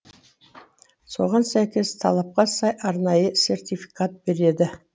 соған сәйкес талапқа сай арнайы сертификат береді